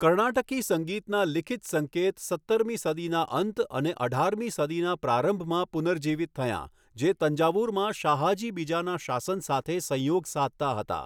કર્ણાટકી સંગીતના લિખિત સંકેત સત્તરમી સદીના અંત અને અઢારમી સદીના પ્રારંભમાં પુનર્જીવિત થયાં, જે તંજાવુરમાં શાહાજી બીજાના શાસન સાથે સંયોગ સાધતા હતા.